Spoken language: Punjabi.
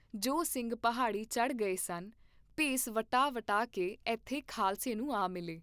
ਜੋ ਸਿੰਘ ਪਹਾੜੀ ਚੜ੍ਹ ਗਏ ਸਨ, ਭੇਸ ਵਟਾ ਵਟਾ ਕੇ ਏਥੇ ਖਾਲਸੇ ਨੂੰ ਆ ਮਿਲੇ।